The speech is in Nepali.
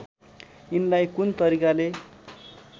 यिनलाई कुन तरिकाले